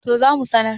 to za mu sanar